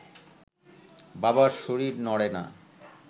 বাবার শরীর নড়ে না